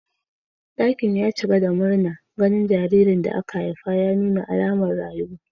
Dakin ya cika da murna ganin jaririn da aka haifa ya nuna alamar rayuwa.